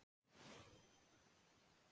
Hver veit ekki það?